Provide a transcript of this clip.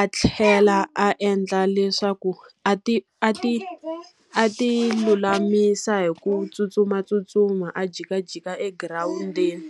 a tlhela a endla leswaku a ti a ti a ti lulamisa hi ku tsutsumatsutsuma, a jikajika egirawundini.